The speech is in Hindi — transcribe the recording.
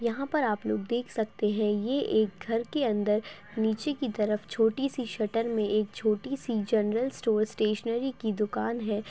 यहा पर आप लोग देख सकते हैं ये एक घर की अंदर नीचे की तरफ चोटी सी शटर मैं एक छोटी सी जनरल स्टोर स्टैशनेरी की दुकान है।